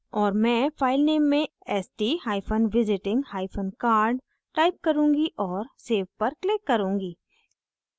और मैं filename में stvisitingcard type करुँगी और save पर click करुँगी